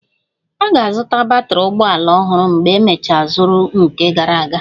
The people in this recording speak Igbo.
Ọ ga-azụta batrị ụgbọ ala ọhụrụ mgbe emecha zuru nke gara aga